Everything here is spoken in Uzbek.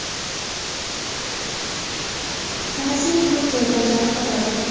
tanasining to‘rt joyidan jarohat olgan.